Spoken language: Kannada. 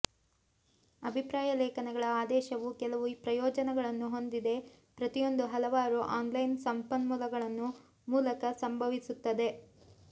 ಅಭಿಪ್ರಾಯ ಲೇಖನಗಳ ಆದೇಶವು ಕೆಲವು ಪ್ರಯೋಜನಗಳನ್ನು ಹೊಂದಿದೆ ಪ್ರತಿಯೊಂದು ಹಲವಾರು ಆನ್ಲೈನ್ ಸಂಪನ್ಮೂಲಗಳನ್ನು ಮೂಲಕ ಸಂಭವಿಸುತ್ತದೆ